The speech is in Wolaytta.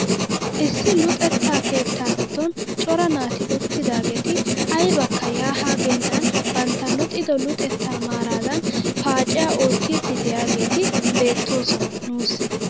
Issi luxetta keetaa giddon cora naati uttidaageti aybakka yaa haa geennan bantta luxxido luxettaa maaradan paaciyaa oottiidi de'iyaageti beettoosona nuusi.